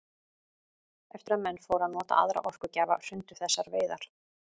Eftir að menn fóru að nota aðra orkugjafa hrundu þessar veiðar.